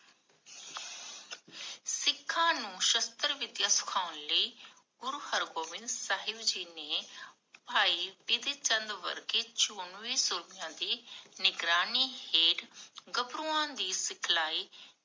ਸਿਖਾਂ ਨੂੰ ਸ਼ਾਸਤ੍ਰ ਵਿਦਿਆ ਸਿਖਾਉਣ ਲਈ ਗੁਰੂ ਹਰਗੋਬਿੰਦ ਸਾਹਿਬ ਜੀ ਨੇ, ਭਾਈ ਸ਼੍ਰੀ ਚੰਦ ਵਰਗੇ ਸੂਰਵੀਰ ਯੋਧਿਆਂ ਦੀ ਨਿਗਰਾਨੀ ਹੇਠ ਗਾਬ੍ਰੁਆਂ ਦੀ ਸਿਖਲਾਈ